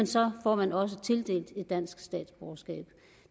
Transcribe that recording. så får man også tildelt et dansk statsborgerskab